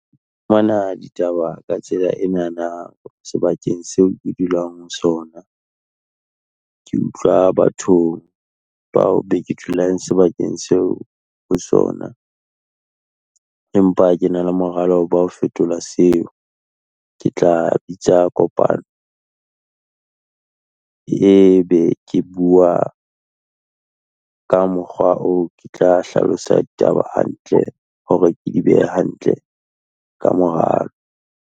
fumana ditaba ka tsela ena na sebakeng seo ke dulang ho sona. Ke utlwa bathong bao beke dulang sebakeng seo ho sona. Empa ke na le moralo ba ho fetola seo, ke tla bitsa kopano e be ke bua ka mokgwa oo ke tla hlalosa ditaba hantle, hore ke di behe hantle ka mora .